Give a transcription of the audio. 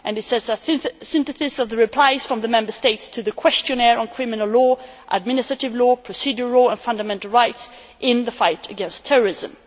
This is a synthesis of the replies from the Member States to the questionnaire on criminal law, administrative law, procedural law and fundamental rights in the fight against terrorism.